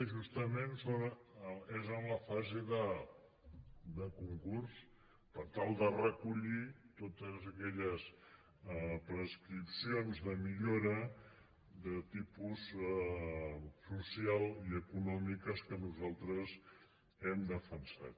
justament és en la fase de concurs per tal de recollir totes aquelles pres·cripcions de millora de tipus social i econòmiques que nosaltres hem defensat